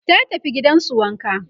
ta tafi gidansu wanka